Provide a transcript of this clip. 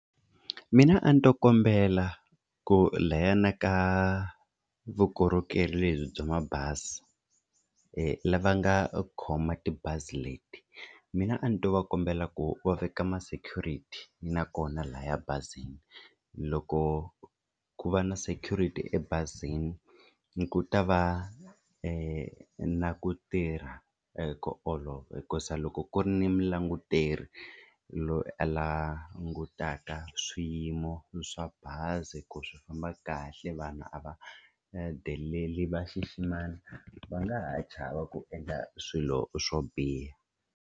Mina a ni ta kombela ku layani ka vukorhokeri lebyi bya mabazi lava nga khoma tibazi leti, mina a ni to va kombela ku va veka ma security nakona laya bazini loko ku va na security ebazini ku ta va ku na ku tirha hi ku olova hi ku za loko ku ri ni mulanguteri loyi a langutaka swiyimo swa bazi ku swi famba kahle vanhu a va deleli va xiximana va nga ha chava ku endla swilo swo biha.